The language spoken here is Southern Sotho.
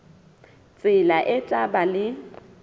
tsela e tla ba le